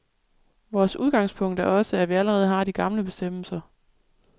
Vores udgangspunkt er også, at vi allerede har de gamle bestemmelser.